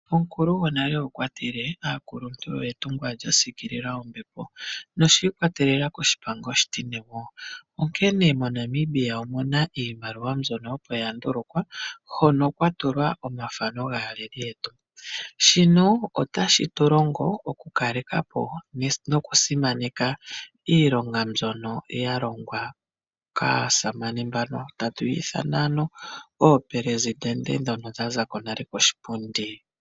Omukulu gonale okwa tile ''omukuluntu etungwa lyasiikilila ombepo'', noshiikwatelela koshipango oshitine, onkene moNamibia omuna iimaliwa mbyono opo ya ndulukwa hono kwa tulwa omathano gaaleli yetu, shino otashi tu longo oku kaleka po nokusimaneka iilonga mbyono yalongwa kaasamane mbano tatu ya ithana ano oopresitende dhono sha za ko nale koshipundi.